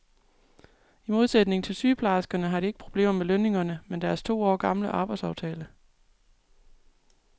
I modsætning til sygeplejerskerne har de ikke problemer med lønningerne, men med deres to år gamle arbejdstidsaftale.